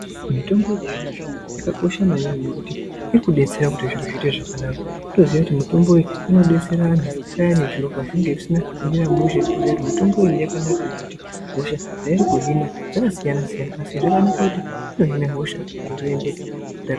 Mitombo yechizvino zvino yakakosha maningi ngekuti irikudetsera kuti zviro zviite zvakanaka kutoziva kuti mitombo inodetsera antu pane zviro zvisina kumira zvakanaka ngekuti mitombo iyi yakanaka ngekuti hosha dzairi kuhina dzakasiyana-siyana asi zvakanaka kuti inohina hosha zviro zvoendeka.